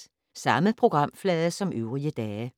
Samme programflade som øvrige dage